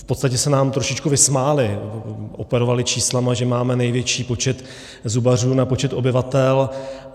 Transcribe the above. V podstatě se nám trošku vysmáli, operovali čísly, že máme největší počet zubařů na počet obyvatel.